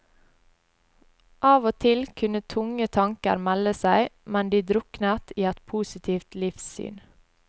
Av og til kunne tunge tanker melde seg, men de druknet i et positivt livssyn.